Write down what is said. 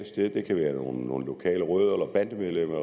sted det kan være nogle lokale rødder eller bandemedlemmer